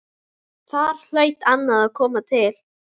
Þar hlaut annað að koma til.